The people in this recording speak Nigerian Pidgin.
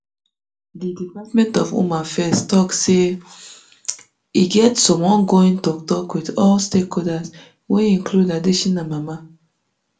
di department of home affairs tok say um e get some ongoing toktok wit all stakeholders wey include adetshina mama